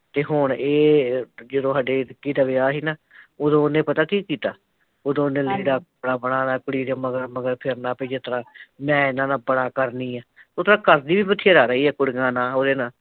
ਤੇ ਹੁਣ ਏਹ, ਜਦੋਂ ਸਾਡੇ ਵਿੱਕੀ ਦਾ ਵਿਆਹ ਸੀਨਾ ਉਦੋਂ ਉਹਨੇ ਪਤਾ ਕੀ ਕੀਤਾ ਉਹਦੋ ਉਹਨੇ ਲੀੜਾ, ਆਪਣਾ ਲੈ ਲੈ ਕੁੜੀ ਦੇ ਮਗਰ ਮਗਰ ਫਿਰਨਾ ਵੀ ਜਿਸਤਰਾਂ, ਮੈਂ ਇਹਨਾਂ ਦਾ ਬੜਾ ਕਰਣੀ ਐ ਉਦਾ ਕਰਦੀ ਵੀ ਵਧੇਰਾ ਰਹੀ ਐ ਕੁੜੀਆ ਨਾਲ਼ ਉਹਦੇ ਨਾਲ਼